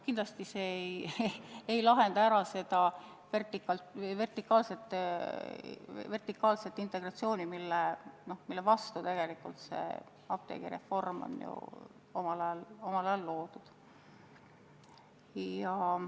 Kindlasti see ei lahendaks ära vertikaalse integratsiooni probleemi, mille vastu tegelikult apteegireform omal ajal ette võeti.